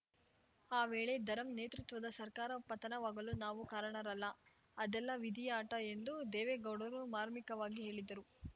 ಆ ವೇಳೆ ಧರಂ ನೇತೃತ್ವದ ಸರ್ಕಾರ ಪತನವಾಗಲು ನಾವು ಕಾರಣರಲ್ಲ ಅದೆಲ್ಲಾ ವಿಧಿಯಾಟ ಎಂದು ದೇವೇಗೌಡರು ಮಾರ್ಮಿಕವಾಗಿ ಹೇಳಿದರು